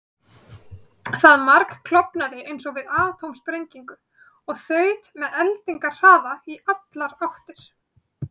Það margklofnaði eins og við atómsprengingu og þaut með eldingarhraða í allar áttir.